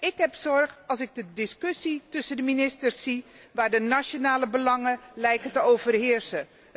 Ik maak me zorgen als ik de discussie tussen de ministers zie, waar de nationale belangen lijken te overheersen.